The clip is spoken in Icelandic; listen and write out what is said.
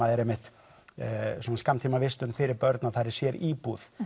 er svona skammtímavistun fyrir börn að þar er sér íbúð